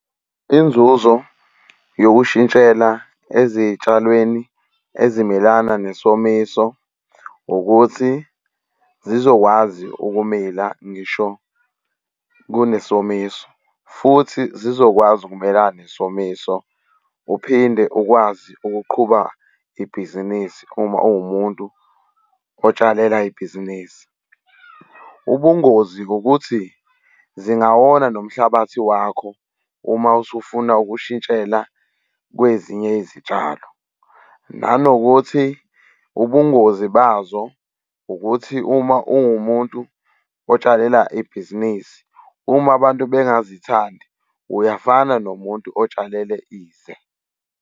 Inzuzo yokushintshela ezitshalweni ezimelana nesomiso, ukuthi zizokwazi ukumila ngisho kunesomiso, futhi zizokwazi ukumelana nesomiso, uphinde ukwazi ukuqhuba ibhizinisi uma uwumuntu otsalela ibhizinisi. Ubungozi ukuthi zingawona nomhlabathi wakho uma usufuna ukushintshela kwezinye izitshalo. Nanokuthi ubungozi bazo ukuthi uma uwumuntu otshalela ibhizinisi uma abantu bengazithandi, uyafana nomuntu otshalele ize.